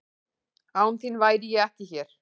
Án þín væri ég ekki hér.